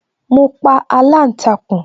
Mo pa aláǹtakùn